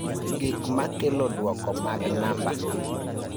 Gik ma kelo duoko mag namba